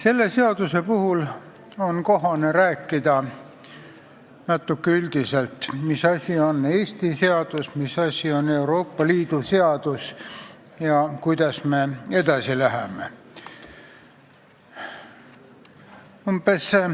Selle seaduse puhul on kohane rääkida natuke üldisemalt, mis asi on Eesti seadus ja mis asi on Euroopa Liidu seadus ning kuidas me edasi läheme.